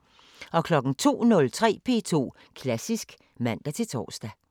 02:03: P2 Klassisk (man-tor)